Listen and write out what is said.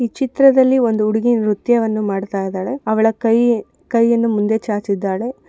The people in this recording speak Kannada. ಈ ಚಿತ್ರದಲ್ಲಿ ಒಂದು ಉಡುಗಿ ನೃತ್ಯವನ್ನು ಮಾಡ್ತಾ ಇದ್ದಾಳೆ ಅವಳ ಕೈ ಕೈಯನ್ನು ಮುಂದೆ ಚಾಚಿದ್ದಾಳೆ.